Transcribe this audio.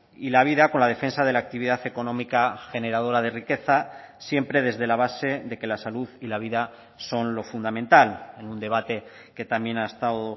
y la vida con la defensa de la actividad económica generadora de riqueza siempre desde la base de que la salud y la vida son lo fundamental en un debate que también ha estado